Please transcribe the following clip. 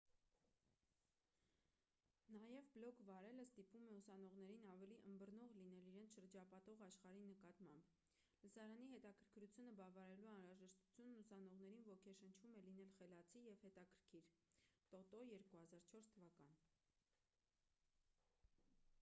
նաև բլոգ վարելը «ստիպում է ուսանողներին ավելի ըմբռնող լինել իրենց շրջապատող աշխարհի նկատմամբ»: լսարանի հետաքրքրությունը բավարարելու անհրաժեշտությունն ուսանողներին ոգեշնչում է լինել խելացի և հետաքրքիր տոտո 2004 թվական: